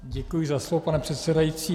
Děkuji za slovo, pane předsedající.